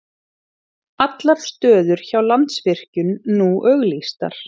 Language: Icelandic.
Allar stöður hjá Landsvirkjun nú auglýstar